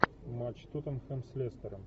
матч тоттенхэм с лестером